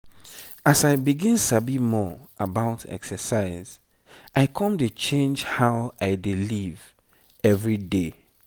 as i begin sabi more about exercise i come dey change how i dey live every day.